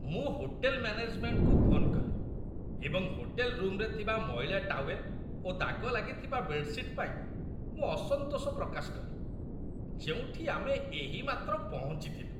ମୁଁ ହୋଟେଲ୍‌ ମ୍ୟାନେଜ୍‌ମେଣ୍ଟକୁ ଫୋନ୍ କଲି ଏବଂ ହୋଟେଲ୍‌ ରୁମ୍‌ରେ ଥିବା ମଇଳା ଟାୱେଲ୍ ଓ ଦାଗ ଲାଗିଥିବା ବେଡ୍‌ସିଟ୍ ପାଇଁ ମୋ ଅସନ୍ତୋଷ ପ୍ରକାଶ କଲି, ଯେଉଁଠି ଆମେ ଏହିମାତ୍ର ପହଞ୍ଚିଥିଲୁ।